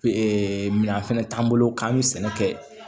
minɛn fɛnɛ t'an bolo k'an bɛ sɛnɛ kɛ